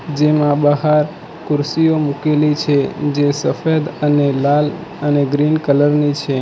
જેમાં બહાર ખુરશીઓ મૂકેલી છે જે સફેદ અને લાલ અને ગ્રીન કલર ની છે.